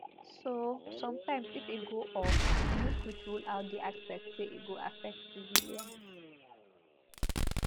so sometimes if e go off you no fit rule out di aspect say e go affect civilians